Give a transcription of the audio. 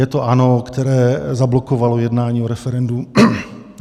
Je to ANO, které zablokovalo jednání o referendu.